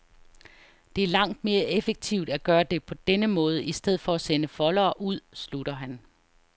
Det er langt mere effektivt, at gøre det på denne måde i stedet for at sende foldere ud, slutter han.